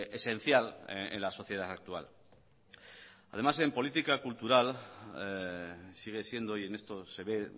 esencial en la sociedad actual además en política cultural sigue siendo y en esto se ve